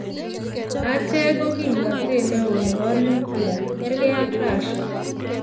Achek ko kimnatet ne o ne bo nuklia, kergei ak Rasia.